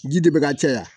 Ji de bɛ ka caya